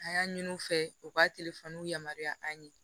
An y'a ɲini u fɛ u ka yamaruya an ye